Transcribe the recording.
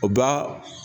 O b'a